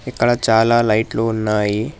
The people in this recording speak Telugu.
ఇక్కడ చాలా లైట్లు ఉన్నాయి.